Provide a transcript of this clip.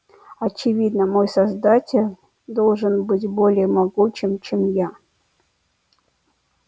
очевидно мой создатель должен быть более могучим чем я